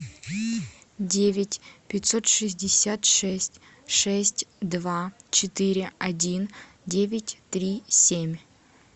девять пятьсот шестьдесят шесть шесть два четыре один девять три семь